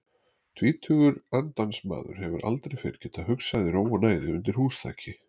Tvítugur andansmaður hefur aldrei fyrr getað hugsað í ró og næði undir húsþaki.